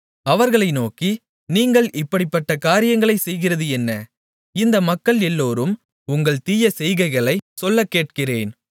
அவர்களை நோக்கி நீங்கள் இப்படிப்பட்ட காரியங்களைச் செய்கிறது என்ன இந்த மக்கள் எல்லோரும் உங்கள் தீய செய்கைகளைச் சொல்லக்கேட்கிறேன்